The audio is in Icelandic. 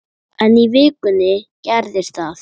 En í vikunni gerðist það.